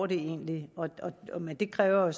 det egentlig går men det kræver